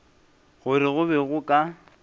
gore go be go ka